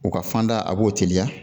U ka fanda a b'o teliya